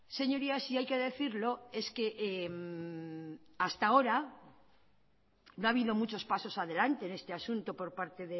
señorías y hay que decirlo es que hasta ahora no ha habido muchos pasos adelante en este asunto por parte